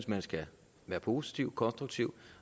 man skal være positiv konstruktiv